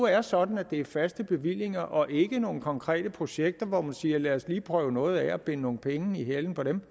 er sådan at det er faste bevillinger og ikke til nogle konkrete projekter hvor man siger lad os lige prøve noget af og binde nogle penge i halen på dem